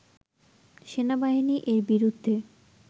সেনাবাহিনী এর বিরুদ্ধে